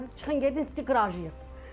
Ta çıxın gedin sizi qıracağıq.